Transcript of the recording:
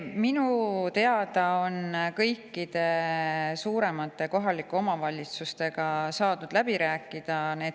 Minu teada on kõikide suuremate kohalike omavalitsustega need kitsaskohad saadud läbi rääkida.